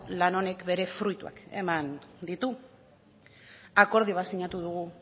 lan honek bere fruituak eman ditu akordio bat sinatu dugu